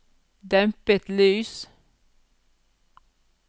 dempet lys